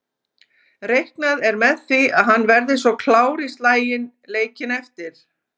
Reiknað er með því að hann verði svo klár í slaginn leikinn eftir.